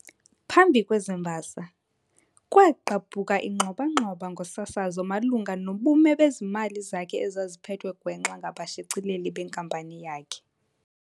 phambi kwezi mbasa, kwagqabhuka ingxwabangxwaba ngosasazo malunga nobume bezezimali zakhe ezaziphethwe gwenxa ngabashicileli benkampani yakhe.